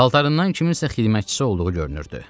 Paltarından kiminsə xidmətçisi olduğu görünürdü.